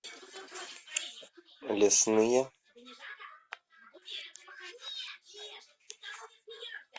лесные